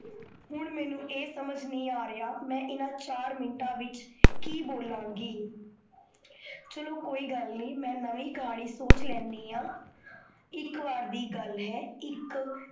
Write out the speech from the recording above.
ਹੁਣ ਮੇਨੂ ਇਹ ਸਮਝ ਨਹੀ ਆਰੇਹਾ, ਮੈਂ ਇੰਨਾ ਚਾਰ ਮਿੰਟਾ ਵਿਚ ਕੀ ਬੋਲਾਂਗੀ ਚਲੋ ਕੋਈ ਗਲ ਨਹੀ, ਮੈਂ ਨਵੀਂ ਕਹਾਨੀ ਸੋਚ ਲੈਣੀ ਹਾਂ ਇਕ ਵਾਰ ਦੀ ਗਲ ਹੈ, ਇਕ